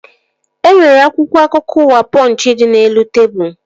E nwere akwụkwọ akụkọ ụwa Pọnchị dị n'elu tebụl